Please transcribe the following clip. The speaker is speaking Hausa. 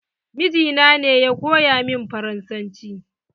Mijina ne ya koya min faransanci.